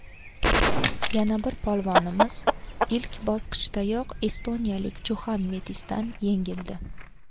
Yana bir polvonimiz ilk bosqichdayoq estoniyalik Juxan Mettisdan yengildi.